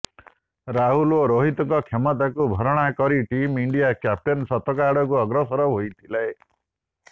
ରାହୁଲ ଓ ରୋହିତଙ୍କ କ୍ଷତିକୁ ଭରଣା କରି ଟିମ୍ ଇଣ୍ଡିଆ କ୍ୟାପ୍ଟେନ ଶତକ ଆଡକୁ ଅଗ୍ରସର ହୋଇଥିଲେ